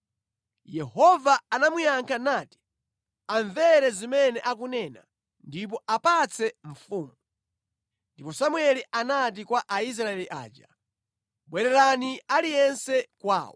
Yehova anamuyankha nati, “Amvere zimene akunena ndipo apatse mfumu.” Ndipo Samueli anati kwa Aisraeli aja, “Bwererani aliyense kwawo.”